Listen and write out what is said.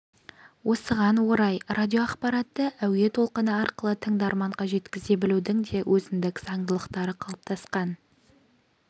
осыған орай радиоақпаратты әуе толқыны арқылы тыңдарманға жеткізе білудің де өзіндік заңдылықтары қалыптасқан